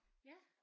Ja